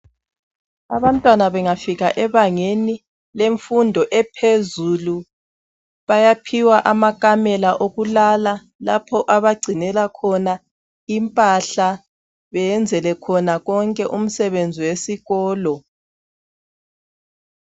Abantwana bengafika ebangeni lemfundo ephezulu bayaphiwa amakamela okulala lapho abagcinela khona impahla, beyenzele khona konke umsebenzi wesikolo